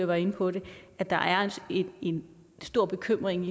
var inde på det at der er en stor bekymring